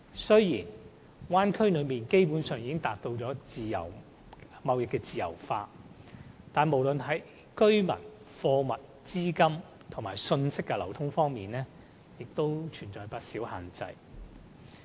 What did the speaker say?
雖然大灣區內基本上已經實現貿易自由化，但無論是在居民、貨物、資金和信息的流通方面，仍存在不少限制。